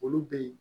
Olu bɛ ye